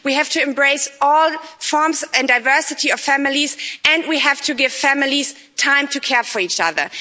We have to embrace all forms and diversity of families and we have to give families time to care for each other.